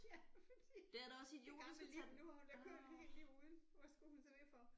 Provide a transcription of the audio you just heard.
Ja fordi den gamle tænkte nu havde hun da kørt et helt liv uden hvad skulle hun så det for